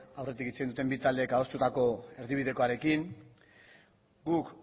aurretik hitz egin duten bi taldeek adostutako erdibidekoarekin guk